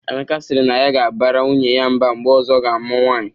Emeka sịrị na ya ga-abara nwunye ya mba mgbe ọzọ ọ ga-amụ nwaanyị